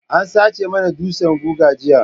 An sace mana dutsan guga jiya.